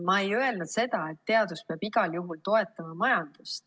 Ma ei öelnud seda, et teadus peab igal juhul toetama majandust.